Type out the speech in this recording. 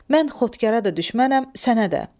Mən Xotkara da düşmənəm, sənə də.